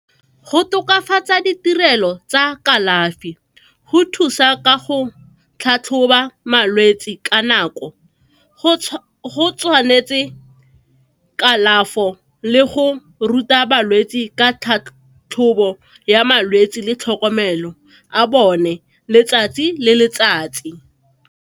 Go tokafatsa ditirelo tsa kalafi, go thusa ka go tlhatlhoba malwetsi ka nako, go tshwanetse kalafo le go ruta balwetsi ka tlhatlhobo ya malwetsi le tlhokomelo a bone letsatsi le letsatsi.